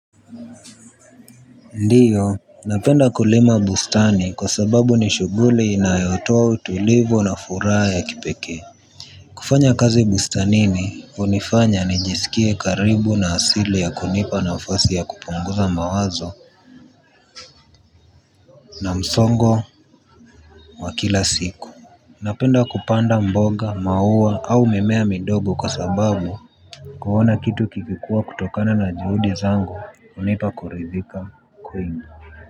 Ndiyo napenda kulima bustani kwa sababu ni shughuli inayotoa utulivu na furaha ya kipekee kufanya kazi bustanini unifanya nijisikie karibu na asili ya kunipa nafasi ya kupunguza mawazo na msongo wa kila siku napenda kupanda mboga maua au mimea midogo kwa sababu kuona kitu kikikuwa kutokana na juhudi zangu unipa kuridhika kwingi.